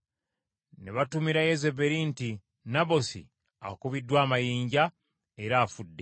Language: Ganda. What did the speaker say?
Ne batumira Yezeberi nti, “Nabosi akubiddwa amayinja era afudde.”